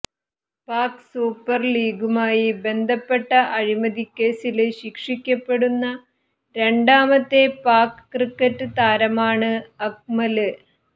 Pak super ലീഗുമായി ബന്ധപ്പെട്ട അഴിമതി കേസില് ശിക്ഷിക്കപ്പെടുന്ന രണ്ടാമത്തെ പാക് ക്രിക്കറ്റ് താരമാണ് അക്മല്